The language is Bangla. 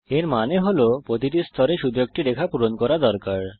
এর মানে হল আমাদের প্রতিটি স্তরে শুধু একটি রেখা পূরণ করা দরকার